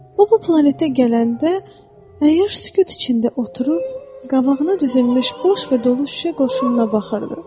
O bu planetə gələndə əyyaş sükut içində oturub qabağına düzülmüş boş və dolu şüşə qoşununa baxırdı.